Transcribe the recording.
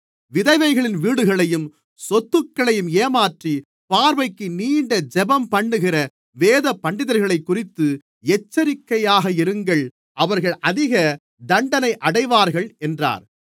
விதவைகளின் வீடுகளையும் சொத்துக்களையும் ஏமாற்றி பார்வைக்கு நீண்ட ஜெபம்பண்ணுகிற வேதபண்டிதர்களைக்குறித்து எச்சரிக்கையாக இருங்கள் அவர்கள் அதிகத் தண்டனை அடைவார்கள் என்றார்